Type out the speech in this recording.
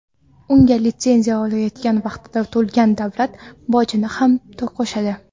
Unga litsenziya olayotgan vaqtda to‘lagan davlat bojini ham qo‘shadi.